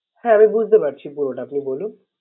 হ্যাঁ আমি বুঝতে পারছি পুরোটা আপনি বলুন।